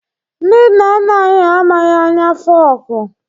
Ndị nna nna anyị ha amaghị anya fọku